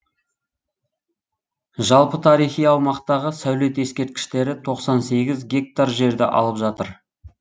жалпы тарихи аумақтағы сәулет ескертіштері тоқсан сегіз гектар жерді алып жатыр